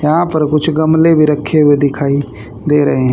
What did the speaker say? यहां पर कुछ गमले भी रखे हुए दिखाई दे रहें--